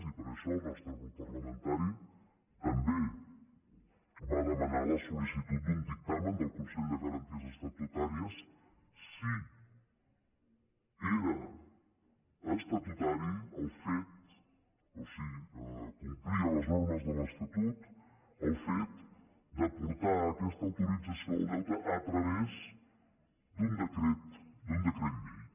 i per això el nostre grup parlamentari també va demanar la sollicitud d’un dictamen del consell de garanties estatutàries si era estatutari el fet o si complia les normes de l’estatut el fet de portar aquesta autorització del deute a través d’un decret llei